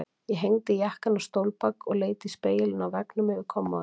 Ég hengdi jakkann á stólbak og leit í spegilinn á veggnum yfir kommóðunni.